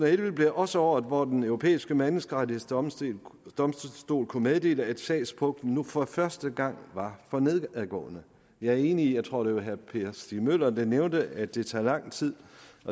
og elleve blev også året hvor den europæiske menneskerettighedsdomstol kunne meddele at sagspuklen nu for første gang var for nedadgående jeg er enig i jeg tror det var herre per stig møller der nævnte det at det tager lang tid